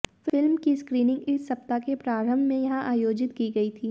film की screening इस सप्ताह के प्रारंभ में यहां आयोजित की गई थी